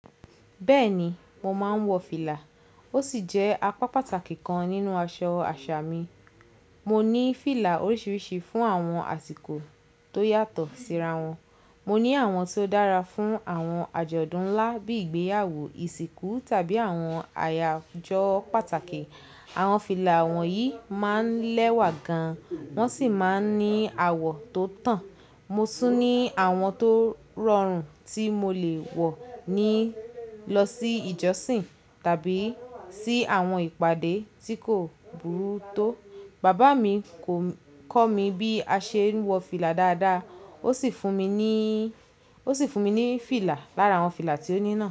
Bẹ́ẹ̀ni, mo máa ń wọ fìlà. Ó sì jẹ́ apá pàtàkì kan nínú aṣọ àṣà mi. Mo ní fìlà oríṣiríṣi fún àwọn àsìkò tó yàtọ̀ síra wọn. Mo ní àwọn tó dára fún àwọn àjọ̀dún ńlá bíi ìgbéyàwó, ìsìnkú tàbí àwọn àyájo pàtàkì. Àwọn fìlà won yi máa ń lẹ́wà gan, wọ́n sì máa ń ní àwọ tó tàn. Mo tún ní àwọn tó rọrùn tí mo lè wọ ní lọ sí ìjọsìn tàbí sí àwọn ìpàdé tí kò burú tó. Bàbá mi kò kọ mi bí a ṣe ń wọ fìlà dáadáa, ó sì fún mi ní, ó sì fún mi ní fìlà lára àwọn fìlà tó ní ná.